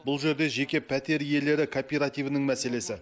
бұл жерде жеке пәтер иелері кооперативінің мәселесі